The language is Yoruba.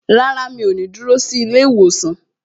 Rárá, mi ò ní dúró sí ilé ìwòsàn